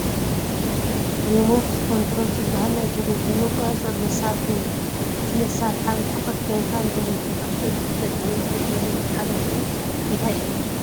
ሪሞት ኮንትሮል ዝበሃል ናይ ቴለብዥን መቆፃፀሪ መሳርሒ እኒሀ፡፡ እዚ መሳርሒ ኣብ ርሕቐት ኮይንካ ንቴለብዥንካ ክትእዝዝ ይጠቅም፡፡ እዚ ቴክኖሎጂ ሓለፍኡ እንታይ እዩ?